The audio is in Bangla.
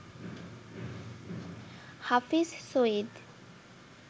হাফিজ সঈদ